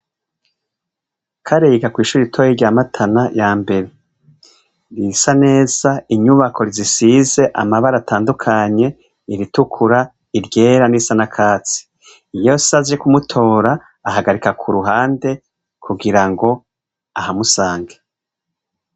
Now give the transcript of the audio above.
Kare yiga kw'ishure ritoye ryamatana ya mbere risa neza inyubako rzisize amabara atandukanye iritukura iryera n'isana katsi iyos aze kumutora ahagarika ku ruhande kugira ngo ahamusange.